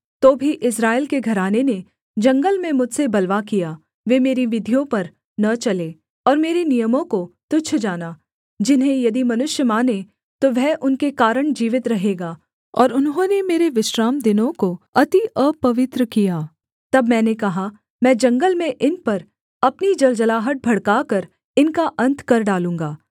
तो भी इस्राएल के घराने ने जंगल में मुझसे बलवा किया वे मेरी विधियों पर न चले और मेरे नियमों को तुच्छ जाना जिन्हें यदि मनुष्य माने तो वह उनके कारण जीवित रहेगा और उन्होंने मेरे विश्रामदिनों को अति अपवित्र किया तब मैंने कहा मैं जंगल में इन पर अपनी जलजलाहट भड़काकर इनका अन्त कर डालूँगा